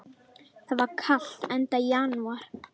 Það var kalt, enda janúar.